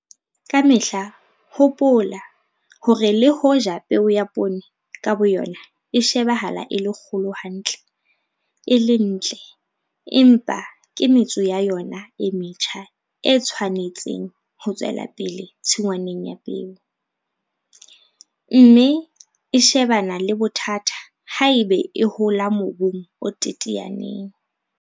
Ka mehla hopola hore le hoja peo ya poone ka boyona e shebahala e le kgolo hantle, e le ntle, empa ke metso ya yona e metjha e tshwanetseng ho tswela pele tshingwaneng ya peo, mme e shebana le bothata haeba e hola mobung o teteaneng.